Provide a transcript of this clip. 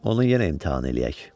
Onu yenə eləşdirək.